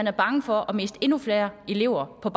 er bange for miste endnu flere elever på